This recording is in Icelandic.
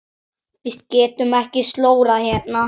Við getum ekki slórað hérna.